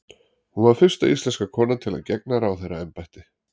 hún var fyrsta íslenska konan til að gegna ráðherraembætti